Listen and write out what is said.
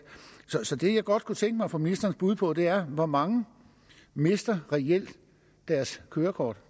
så det jeg godt kunne tænke mig at få ministerens bud på er hvor mange mister reelt deres kørekort